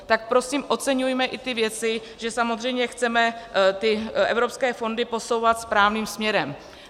Tak prosím oceňujme i ty věci, že samozřejmě chceme ty evropské fondy posouvat správným směrem.